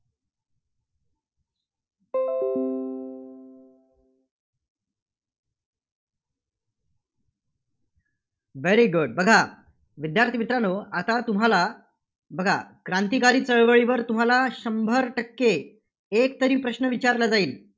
Very good बघा. विद्यार्थी मित्रांनो आता तुम्हाला बघा, क्रांतिकारी चळवळीवर तुम्हाला शंभर टक्के एकतरी प्रश्न विचारला जाईल.